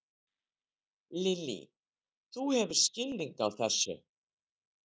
Lillý: Þú hefur skilning á þessu?